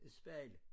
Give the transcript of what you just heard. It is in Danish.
Spejlet